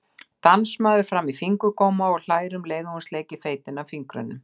Dansmaður-fram-í-fingurgóma, og hlær um leið og hún sleikir feitina af fingrunum.